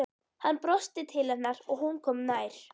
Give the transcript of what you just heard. Hann brosti til hennar og hún kom nær.